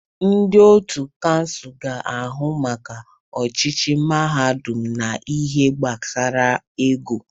Ndị otu kansụl ga-ahụ maka ọchịchị mahadum na ihe gbasara ego.